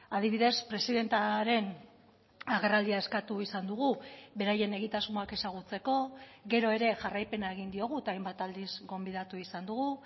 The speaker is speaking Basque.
adibidez presidentearen agerraldia eskatu izan dugu beraien egitasmoak ezagutzeko gero ere jarraipena egin diogu eta hainbat aldiz gonbidatu izan dugu